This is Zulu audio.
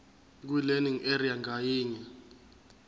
kwilearning area ngayinye